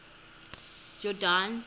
yordane